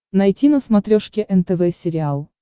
найти на смотрешке нтв сериал